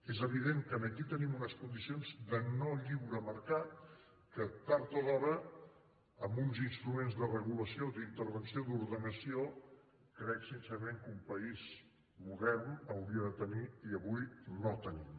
és evident que aquí tenim unes condicions de no lliure mercat que tard o d’hora amb uns instruments de regulació d’intervenció d’ordenació crec sincerament que un país modern hauria de tenir i avui no tenim